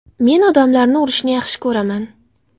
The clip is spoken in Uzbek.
Men odamlarni urishni yaxshi ko‘raman.